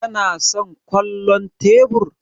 Kana son kwallon tebur?